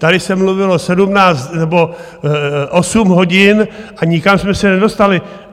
Tady se mluvilo sedmnáct... nebo osm hodin, a nikam jsme se nedostali.